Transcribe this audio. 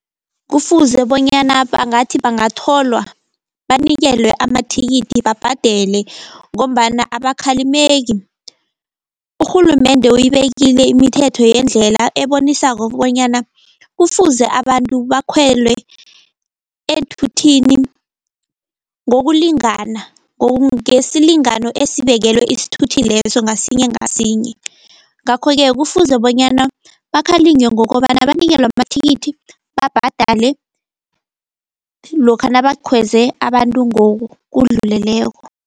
Kufuze bonyana bangathi bangatholwa, banikelwe amathikithi babhadele ngombana abakhalimeki. Urhulumende uyibekile imithetho yendlela ebonisako kobanyana, kufuze abantu bakhwele eenthuthini ngokulingana. Ngesilingano esibekelwe isthuthi leso ngasinye ngasinye. Ngakho-ke kufuze bonyana bakhalinywe ngokobana, banikelwe amathikithi babhadale, lokha nabakhweze abantu ngokudluleleko.